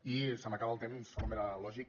i se m’acaba el temps com era lògic